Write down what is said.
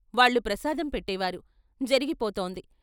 వాళ్ళు ప్రసాదం పెట్టే వారు జరిగిపోతోంది.